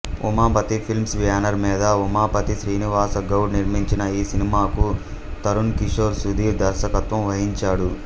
Umapathi films banner మీద ఉమాపతి శ్రీనివాస గౌడ నిర్మించిన ఈ సినిమాకు తరుణ్ కిషోర్ సుధీర్ దర్శకత్వం వహించాడు